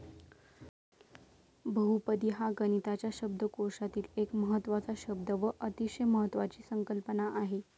बहुपदी हा गणिताच्या शब्दकोशातील एक महत्वाचा शब्द व अतिशय महत्वाची संकल्पना आहे.